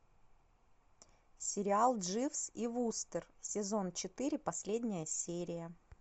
сериал дживс и вустер сезон четыре последняя серия